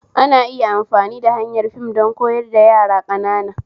Ana iya amfani da hanyar fim don koyar da yara ƙanana